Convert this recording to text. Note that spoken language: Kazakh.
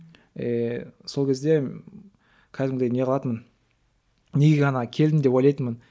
и сол кезде кәдімгідей не қылатынмын неге ана келдім деп ойлайтынмын